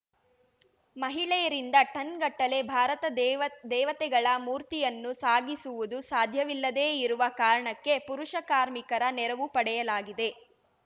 ಮಹಿಳೆಯರಿಂದ ಟನ್‌ಗಟ್ಟಲೆ ಭಾರತ ದೇವತೆಗಳ ಮೂರ್ತಿಯನ್ನು ಸಾಗಿಸುವುದು ಸಾಧ್ಯವಿಲ್ಲದೇ ಇರುವ ಕಾರಣಕ್ಕೆ ಪುರುಷ ಕಾರ್ಮಿಕರ ನೆರವು ಪಡೆಯಲಾಗಿದೆ